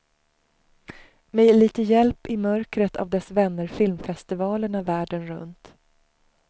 Med lite hjälp i mörkret av dess vänner filmfestivalerna världen runt.